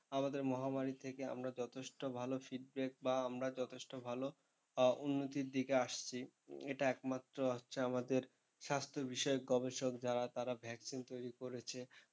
আমাদের মহামারী থেকে আমরা যথেষ্ট ভালো feedback বা আমরা যথেষ্ট ভালো উন্নতির থেকে আসছি, এটা একমাত্র হচ্ছে আমাদের স্বাস্থ্যবিষয়ক গবেষক যারা তারা vaccine তৈরি করেছে।